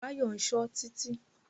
Báyọ̀ ń ṣọ́ Títí.